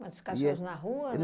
Mas os cachorros na rua, né?